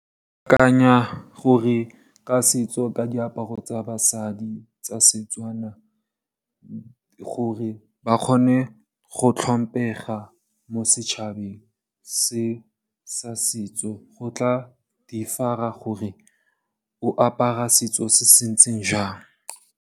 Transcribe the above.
Ke akanya gore ka setso ka diaparo tsa basadi tsa Setswana, gore ba kgone go tlhompega mo setšhabeng se sa setso go tla differ-a gore o apara setso se se ntseng jang.